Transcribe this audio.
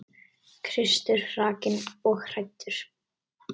Kristur hrakinn og hæddur.